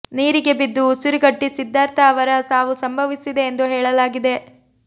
ನೀರಿಗೆ ಬಿದ್ದು ಉಸಿರುಗಟ್ಟಿ ಸಿದ್ಧಾರ್ಥ ಅವರ ಸಾವು ಸಂಭವಿಸಿದೆ ಎಂದು ಹೇಳಲಾಗಿದೆ